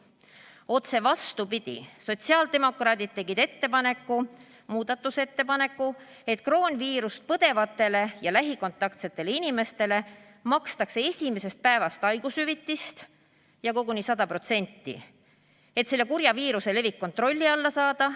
Otse vastupidi, sotsiaaldemokraadid tegid ettepaneku, muudatusettepaneku, et kroonviirust põdevatele ja lähikontaktsetele inimestele makstakse esimesest päevast haigushüvitist ja koguni 100%, et selle kurja viiruse levik kontrolli alla saada.